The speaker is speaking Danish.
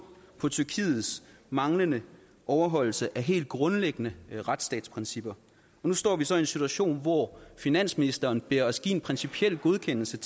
på tyrkiets manglende overholdelse af helt grundlæggende retsstatsprincipper og nu står vi så i en situation hvor finansministeren beder os om at en principiel godkendelse